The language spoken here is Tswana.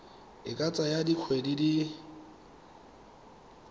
e ka tsaya dikgwedi di